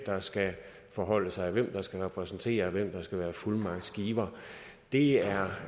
der skal forholde sig hvem der skal repræsentere vedkommende hvem der skal være fuldmagtsgiver det er